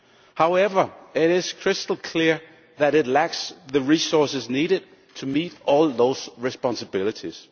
However, it is crystal clear that it lacks the resources needed to meet all those responsibilities.